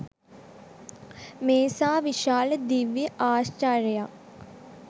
මේසා විශාල දිව්‍ය ඓශ්චර්යයක්